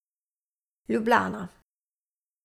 Ljubljana.